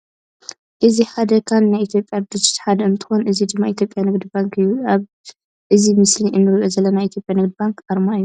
እዚ ሓደ ካን ናይ ኢትዮጵያ ድርጅት ሓደ እንትኮን እዚ ድማ ኢትዮጵያ ንግዲ ባንክ እዩ። ኣብ እዚ ምስሊ እንሪኦ ዘለና ናይ ኢትዮጵያ ንግዲ ባንክ ኣርማ እዩ።